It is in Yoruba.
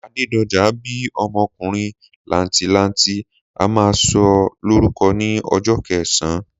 Adédojà bíí ọmọkùnrin làǹtìlanti, a má sọ lórúko ní ojó kẹsán